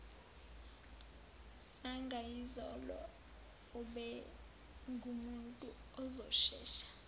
zangayizolo ubengumuntu ozoshesha